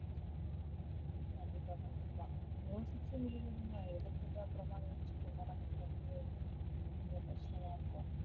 கண்டிப்பா கண்டிப்பா யோசிச்சு முடிவு எடுங்க. எடுத்துட்டு அப்பறமா யோசிச்சிட்டு இருந்தா நமக்கு வந்து ரொம்ப கஷ்டமா இருக்கும்